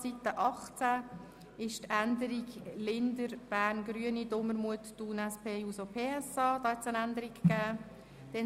Seite 18 hat eine Änderung bei der Planungserklärung Linder, Bern, und Dumermuth, Thun, SP-JUSO-PSA erfahren.